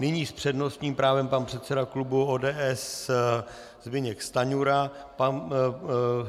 Nyní s přednostním právem pan předseda klubu ODS Zbyněk Stanjura.